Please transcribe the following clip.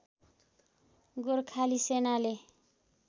गोर्खाली सेनाले